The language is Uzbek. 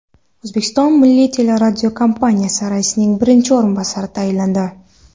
O‘zbekiston Milliy teleradiokompaniyasi raisining birinchi o‘rinbosari tayinlandi.